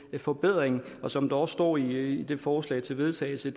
den forbedring og som der også står i det forslag til vedtagelse